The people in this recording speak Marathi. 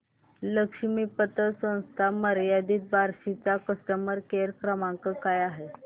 लक्ष्मी पतसंस्था मर्यादित बार्शी चा कस्टमर केअर क्रमांक काय आहे